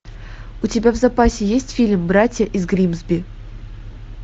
у тебя в запасе есть фильм братья из гримсби